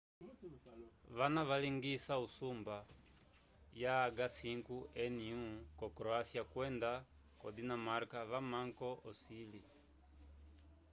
vana valingisa usumba ya h5n1 ko croacia kwenda ko dinamarca vamamko ocili